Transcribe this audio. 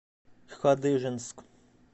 хадыженск